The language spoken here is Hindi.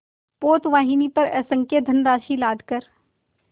पोतवाहिनी पर असंख्य धनराशि लादकर